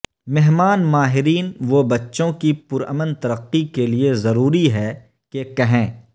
مہمان ماہرین وہ بچوں کی پرامن ترقی کے لئے ضروری ہے کہ کہیں